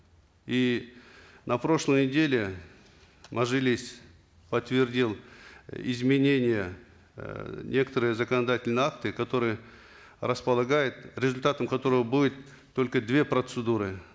и на прошлой неделе мажилис подтвердил изменения эээ в некоторые законодательные акты которые располагают результатом которого будет только две процедуры